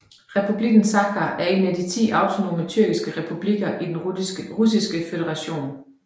Republikken Sakha er en af de ti autonome tyrkiske republikker i Den Russiske Føderation